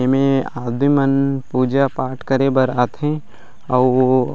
एमे आदमी मन पूजा-पाठ करे बर आथे अऊ--